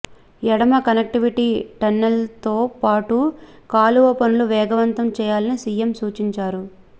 ఎడమ కనెక్టివిటీలో టన్నెల్తోపాటు కాలువ పనులు వేగంతం చేయాలని సీఎం సూచించారు